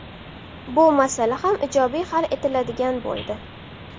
Bu masala ham ijobiy hal etiladigan bo‘ldi.